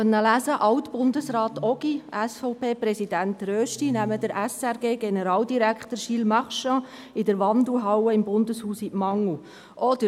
Man konnte lesen, dass Alt-Bundesrat Ogi und SVP-Präsident Rösti den SRG-Generaldirektor Gilles Marchand in der Wandelhalle des Bundeshauses in die Mangel nehmen.